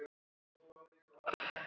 Hér er vel kveðið!